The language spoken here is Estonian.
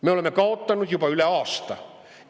Me oleme kaotanud juba rohkem kui aasta.